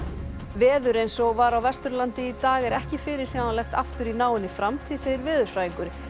veður eins og var á Vesturlandi í dag er ekki fyrirsjáanlegt aftur í náinni framtíð segir veðurfræðingur